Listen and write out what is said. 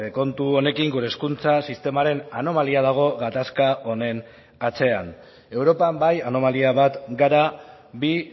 kontu honekin gure hezkuntza sistemaren anomalia dago gatazka honen atzean europan bai anomalia bat gara bi